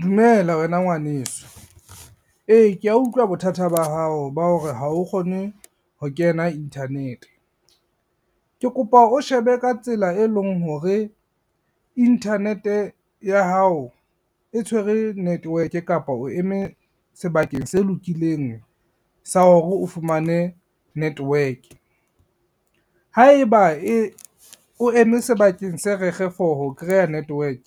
Dumela wena ngwaneso, e kea utlwa bothata ba hao ba hore ha o kgone ho kena internet. Ke kopa o shebe ka tsela e leng hore internet-e ya hao e tshwere network kapa o eme sebakeng se lokileng sa hore o fumane network. Haeba o eme sebakeng se rekge for ho kreya network